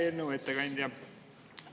Hea eelnõu ettekandja!